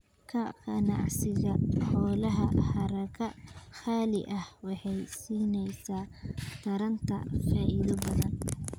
Ka ganacsiga xoolaha haraga qaaliga ah waxay siinaysaa taranta faa'iido badan.